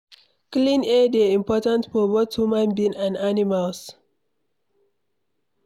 Clean air dey important for both human being and animals.